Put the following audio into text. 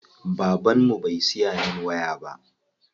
Baban mu bai siya min waya ba.